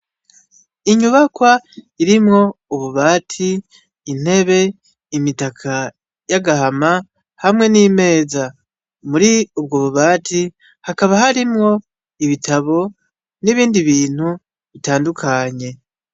Inyubakwa irimwo ububati ,intebe, imitaka y'agahama hamwe n'imeza . Muri ubwo bubati hakaba harimwo ibitabo n'ibindi bintu bitandukanye.